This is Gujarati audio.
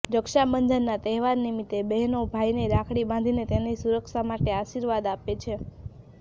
રક્ષાબંધનના તહેવાર નિમિત્તે બહેનો ભાઈને રાખડી બાંધીને તેની સુરક્ષા માટે આશીર્વાદ આપે છે